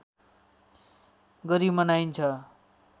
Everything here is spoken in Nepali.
गरी मनाइन्छ